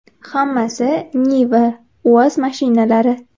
Hammasi “Niva”, “UAZ” mashinalari.